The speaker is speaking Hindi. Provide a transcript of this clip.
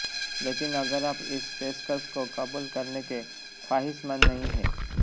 लेकिन अगर आप इस पेशकश को कबूल करने के ख्वाहिशमंद नहीं हैं